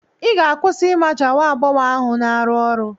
Ị ga-akwụsị ịmaja nwa agbọghọ ahụ na-arụ ọrụ.